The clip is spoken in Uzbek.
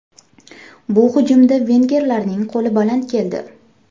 Bu hujumda vengerlarning qo‘li baland keldi.